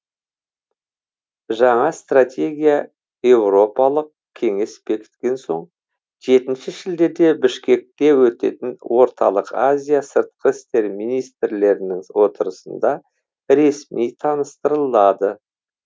жаңа стратегия еуропалық кеңес бекіткен соң жетінші шілдеде бішкекте өтетін орталық азия сыртқы істер министрлерінің отырысында ресми таныстырылады